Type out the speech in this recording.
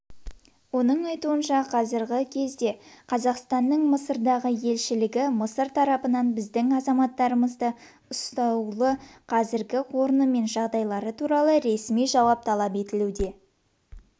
оның айтуынша қазіргі кезде қазақстанның мысырдағы елшілігі мысыр тарапынан біздің азаматтарымызды ұсталуы қазіргі орны мен жағдайлары туралы ресми жауап талап етуде